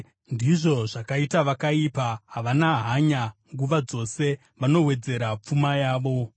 Ndizvo zvakaita vakaipa, havana hanya nguva dzose, vanowedzera pfuma yavo.